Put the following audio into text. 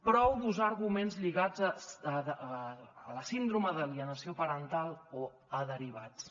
prou d’usar arguments lligats a la síndrome d’alienació parental o a derivats